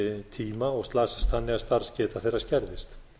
tíma og slasast þannig að starfsgeta þeirra skerðist